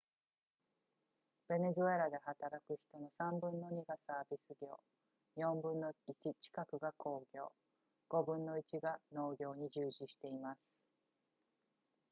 ベネズエラで働く人の3分の2がサービス業4分の1近くが工業5分の1が農業に従事しています